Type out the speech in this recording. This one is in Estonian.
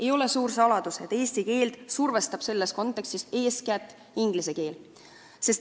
Ei ole suur saladus, et eesti keelt survestab selles kontekstis eeskätt inglise keel.